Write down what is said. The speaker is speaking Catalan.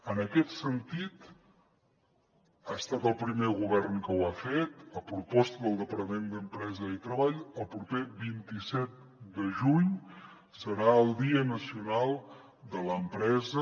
en aquest sentit ha estat el primer govern que ho ha fet a proposta del departament d’empresa i treball el proper vint set de juny serà el dia nacional de l’empresa